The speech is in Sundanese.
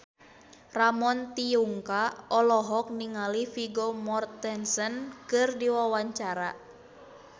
Ramon T. Yungka olohok ningali Vigo Mortensen keur diwawancara